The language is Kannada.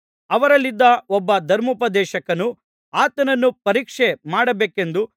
ಅವರಲ್ಲಿದ್ದ ಒಬ್ಬ ಧರ್ಮೋಪದೇಶಕನು ಆತನನ್ನು ಪರೀಕ್ಷೆ ಮಾಡಬೇಕೆಂದು